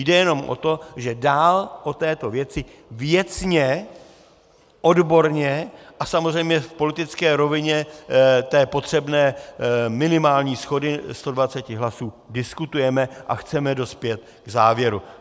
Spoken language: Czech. Jde jenom o to, že dál o této věci věcně, odborně a samozřejmě v politické rovině té potřebné minimální shody 120 hlasů diskutujeme a chceme dospět k závěru.